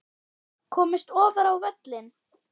Komist ofar á völlinn?